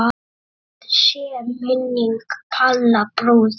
Blessuð sé minning Palla bróður.